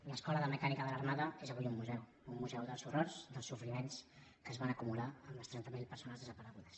l’escuela de mecánica de la armada és avui un museu un museu dels horrors dels sofriments que es van acumular en les trenta mil persones desaparegudes